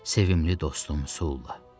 Sevimli dostum Sulla!